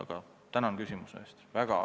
Aga tänan küsimuse eest!